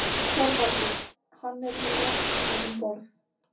ÞORVALDUR: Hann er með lækni um borð.